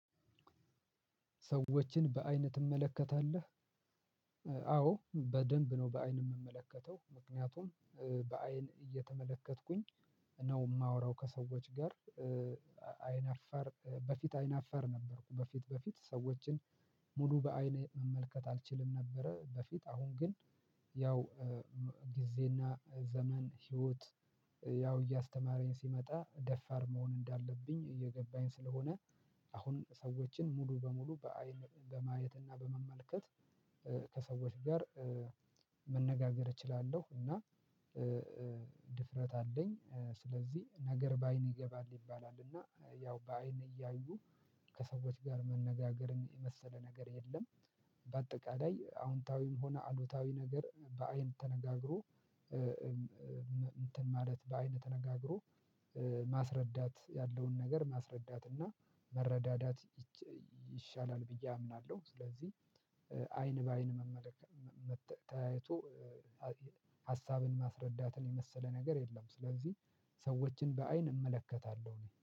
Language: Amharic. ሰዎችን በአይን ትመለከታለህ? አዎ በደንብ ነው በአይን የምመለከተው። ምክንያቱም በአይን እየተመለከትኩኝ ነው የማወራው ከሰዎች ጋር። በፊት አይነፈር ነበርኩ በፊት በፊት ሰዎችን ሙሉ በአይን መመልከት አልችልም ነበረ በፊት። አሁን ግን ያው ጊዜና ዘመን ህይወት ያው እያስተማረኝ ሲመጣ ደፋር መሆን እንዳለብኝ እየገባኝ ስለሆነ- አሁን ሰዎችን ሙሉ በሙሉ በአይን በማየት እና በመመልከት ከሰዎች ጋር- መነጋገር እችላለሁ። እና ድፍረት አለኝ። ስለዚህ ነገር በአይን ይገባል ይባላል እና ያው በአይን እያዩ ከሰዎች ጋር መነጋገርን የመሰለ ነገር የለም። በአጠቃላይ አዎንታዊም ሆነ አሉታዊ ነገር በአይን ተነጋግሮ እንትን ማለት በአይን ተነጋግሮ ማስረዳት ያለውን ነገር ማስረዳት እና መረዳዳት- ይሻላል ብዬ አምናለሁ። ስለዚህ- አይን በአይን መመለከት ተያይቶ ሀሳብን ማስረዳትን የመሰለ ነገር የለም። ስለዚህ ሰዎችን በአይን እመለከታለሁ እኔ።